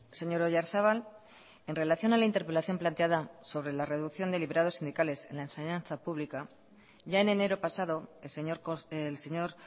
señor oyarzabal en relación a la interpelación planteada sobre la reducción de liberados sindicales en la enseñanza pública ya en enero pasado el señor